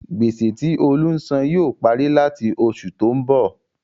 Gbèsè tí Olú ń sàn yóò parí làti oṣù tó ń bọ̀.